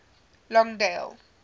longdale